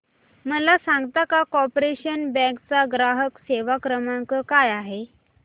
मला सांगता का कॉर्पोरेशन बँक चा ग्राहक सेवा क्रमांक काय आहे